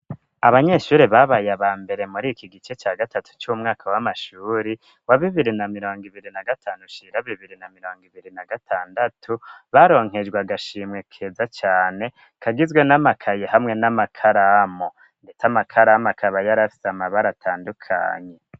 Abanyeshuri babaye aba mbere muri iki gice ca gatatu c'umwaka w'amashuri wa bibiri na mirongo ibiri na gatanu shira bibiri na mirongo ibiri na gatandatu baronkejwe agashimwe keza cane kagizwe n'amakayi hamwe n'amakaramo ndeta amakaramu akaba yarafise amabara atandukanye.